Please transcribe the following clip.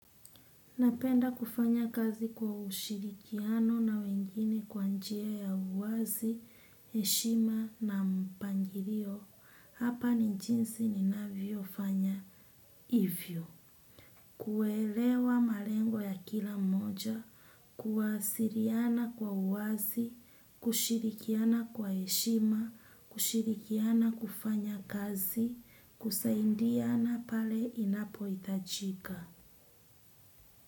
Napenda kufanya kazi kwa ushirikiano na wengine kwa njia ya uwazi, heshima na mpangilio hapa ni jinsi ninavyofanya hivyo. Kuelewa malengo ya kila mmoja, kuwasiliana kwa uwazi, kushirikiana kwa heshima, kushirikiana kufanya kazi, kusaidiana pale inapohitajika.